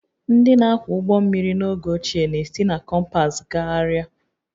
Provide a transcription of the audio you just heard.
Ndị na-akwọ ụgbọ mmiri n'oge ochie na-esi na kompas gagharịa